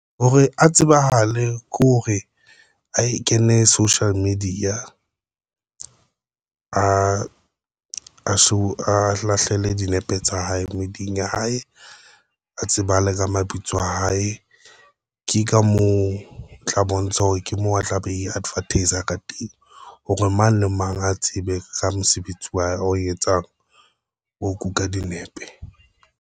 Hore a tsebahale kore a e kene social media ala so a lahlele dinepe tsa hae medieng ya hae, a tseba a le ka mabitso a hae. Ke ka mo tla bontsha hore ke moo a tla be e advertis a ka teng hore mang le mang a tsebe ka mosebetsi wa hae o etsang ho kuka dinepe.